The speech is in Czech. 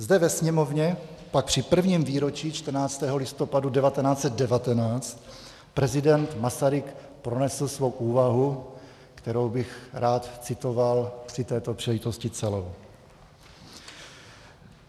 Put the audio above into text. Zde ve Sněmovně pak při prvním výročí 14. listopadu 1919 prezident Masaryk pronesl svou úvahu, kterou bych rád citoval při této příležitosti celou.